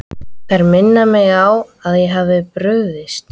Þær minna mig á að ég hef brugðist.